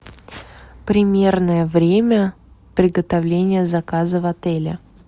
примерное время приготовления заказа в отеле